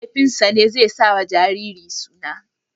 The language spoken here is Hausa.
Mahaifinsa ne zai sawa jariri suna.